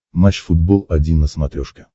матч футбол один на смотрешке